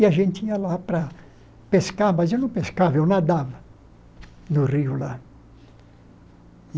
E a gente ia lá para pescar, mas eu não pescava, eu nadava no rio lá.